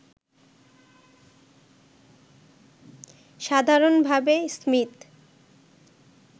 সাধারণভাবে স্মীথ